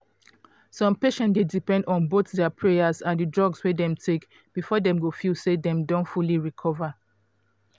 some patients dey depend on both dia prayers and di drugs wey dem take before dem go feel say dem don fully recover.